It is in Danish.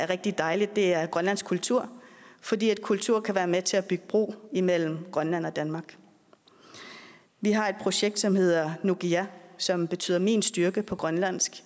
rigtig dejligt er grønlandsk kultur fordi kultur kan være med til at bygge bro imellem grønland og danmark vi har et projekt som hedder nukiga som betyder min styrke på grønlandsk